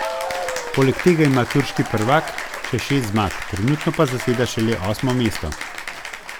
Poleg tega ima turški prvak še šest zmag, trenutno pa zaseda šele osmo mesto.